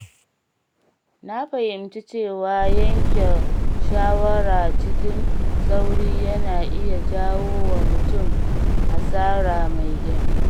Na fahimci cewa yanke shawara cikin sauri yana iya jawo wa mutum hasara mai girma.